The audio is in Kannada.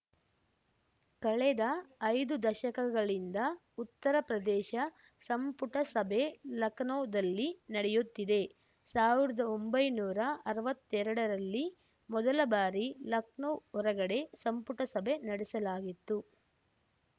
ಕಳೆದ ಐದು ದಶಕಗಳಿಂದ ಉತ್ತರ ಪ್ರದೇಶ ಸಂಪುಟ ಸಭೆ ಲಖನೌದಲ್ಲಿ ನಡೆಯುತ್ತಿದೆ ಸಾವಿರ್ದಾ ಒಂಬೈನೂರಾ ಅರ್ವತ್ತೆರಡರಲ್ಲಿ ಮೊದಲಬಾರಿ ಲಖನೌ ಹೊರಗಡೆ ಸಂಪುಟ ಸಭೆ ನಡೆಸಲಾಗಿತ್ತು